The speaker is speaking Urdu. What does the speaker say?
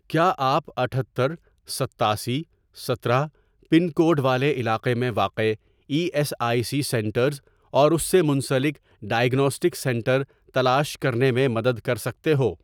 کیا آپ اٹھتر، ستاسی، سترہ، پن کوڈ والے علاقے میں واقع E S I C centres اور اس سے منسلک ڈائیگناسٹک سینٹر تلاش کرنے میں مدد کر سکتے ہو؟